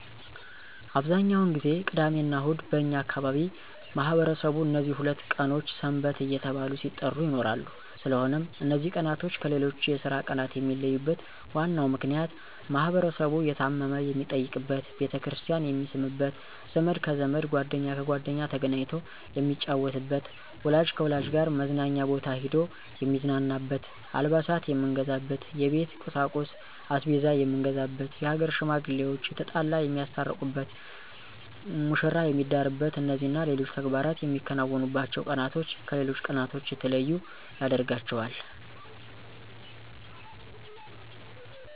አብዛኛውን ጊዜ ቅዳሚና እሁድ በእኛ አካባቢ ማህበረሰቡ እነዚህ ሁለት ቀኖች ሰንበት እየተባሉ ሲጠሩ ይኖራሉ ስለሆነም እነዚ ቀናቶች ከሌሎች የስራ ቀናት የሚለዩበት ዋናው ምክንያት ማህበረሰቡ የታመመ የሚጠይቅበት፣ ቤተክርስቲያን የሚስምበት፣ ዘመድ ከዘመድ ጓደኛ ከጓደኛ ተገናኝቶ የሚጫወትበት፣ ወላጅ ከልጆች ጋር መዝናኛ ቦታ ሂዶ የሚዝናናበት፣ አልባሳት የምንገዛበት፣ የቤት ቁሳቁስ(አስቤዛ የምንገዛበት)የሀገር ሽማግሌዋች የተጣላ የሚያስታርቁበት፣ መሽራ የሚዳርበት እነዚህና ሌሎች ተግባራት የምናከናውንባቸው ቀናቶች ከሌሎች ቀናቶች የተለዩ ያደርጋቸዋል።